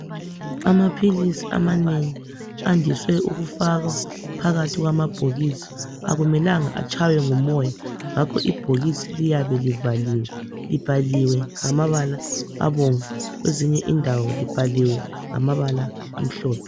Amaphilisi amanengi andise ukufakwa phakathi kwamabhokisi akumelanga atshaywe ngumoya ngakho ibhokisi liyabe livaliwe libhaliwe ngamabala abomvu kwezinye indawo libhaliwe ngamabala amhlophe.